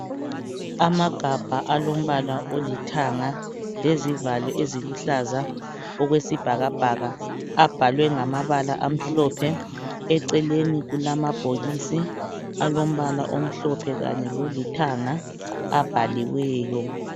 Amagabha alombala olithanga lezivalo eziluhlaza okwesibhakabhaka abhalwe ngamabala amhlophe. Eceleni kulamabhokisi alombala omhlophe kanye lolithanga abhaliweyo.